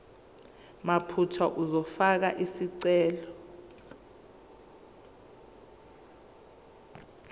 mathupha uzofaka isicelo